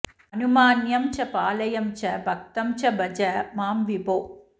अनुमान्यं च पाल्यं च भक्तं च भज मां विभो